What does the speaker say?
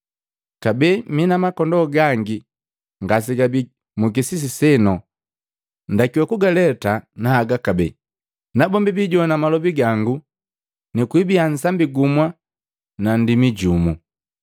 Kabee mina makondoo gangi ngasegabi mukisisi seno. Ndakiwa kugaleta na haga kabee, nabombi biijogwana malobi gango na kwibia nsambi gumu nu nndimi jumu.